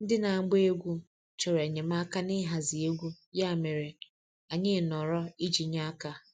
Ndị na-agba egwú chọrọ enyemaka n'ịhazi egwu, ya mere, anyị nọrọ iji nye aka.